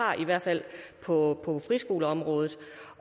har i hvert fald på friskoleområdet